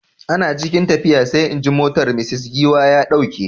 Ana cikin tafiya sai injin motar Mrs Giwa ya dauke.